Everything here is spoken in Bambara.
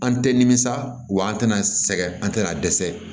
An tɛ nimisa wa an tɛna sɛgɛn an tɛna dɛsɛ